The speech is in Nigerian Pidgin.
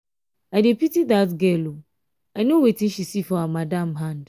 i dey pity dat girl ooo i know wetin she see for her madam hand.